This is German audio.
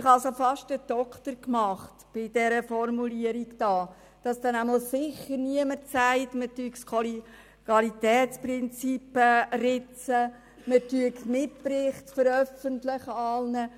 Ich habe sehr lange an dieser Formulierung geschliffen, damit ganz sicher niemand sagen kann, man würde das Kollegialitätsprinzip ritzen oder ganze Mitberichte veröffentlichen wollen.